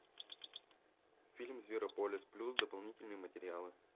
фильм зверополис плюс дополнительные материалы